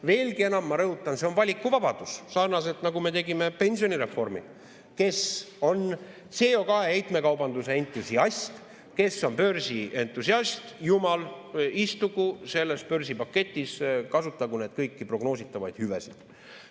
Veelgi enam, ma rõhutan, see on valikuvabadus, sarnaselt, nagu me tegime pensionireformi: kes on CO2 heitmekaubanduse entusiast, kes on börsientusiast, istugu selles börsipaketis, kasutagu kõiki prognoositavaid hüvesid.